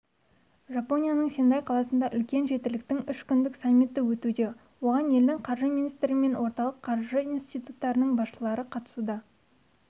жапонияның сендай қаласында үлкен жетіліктің үш күндік саммиті өтуде оған елдің қаржы министрі мен орталық қаржы институттарының басшылары қатысуда